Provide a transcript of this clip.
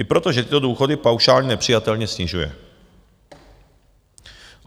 I proto, že tyto důchody paušálně nepřijatelně snižuje.